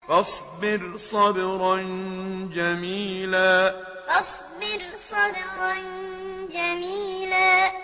فَاصْبِرْ صَبْرًا جَمِيلًا فَاصْبِرْ صَبْرًا جَمِيلًا